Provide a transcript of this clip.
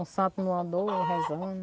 O santo não andou, rezando.